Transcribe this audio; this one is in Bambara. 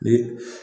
Ni